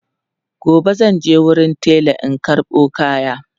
gobe zanje wurin tela in karɓo kayan